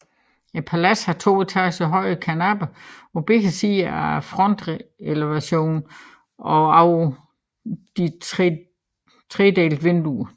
Paladset har to etager høje karnapper på begge sider af frontelevationen og over disse tredelte vinduer